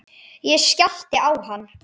Ég skellti á hann.